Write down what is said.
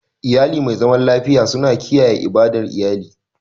Iyali mai zaman lafiya suna kiyaye ibadar iyali.